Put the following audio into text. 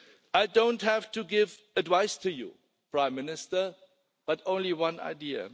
I do not have to give advice to you, Prime Minister, but only one idea.